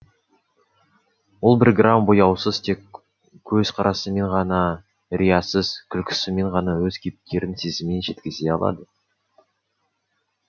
ол бір грамм бояусыз тек көзқарасымен ғана риясыз күлкісімен ғана өз кейіпкерінің сезімін жеткізе алады